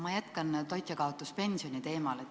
Ma jätkan toitjakaotuspensioni teemal.